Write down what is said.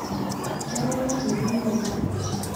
keng'ae natejo nejia